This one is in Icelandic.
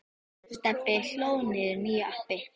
Stebbi hlóð niður nýju appi.